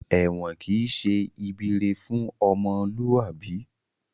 Èwọ̀n kìí ṣe ibi ire fún ọmọlúwàbí